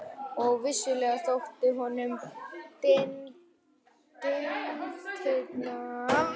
Og vissulega þóttu honum dyntirnir í eldvarna